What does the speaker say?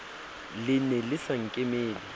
le ne le sa nkemele